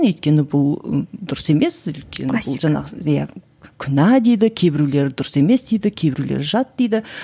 өйткені бұл дұрыс емес өйткені бұл иә күнә дейді кейбіреулері дұрыс емес дейді кейбіреулері жат дейді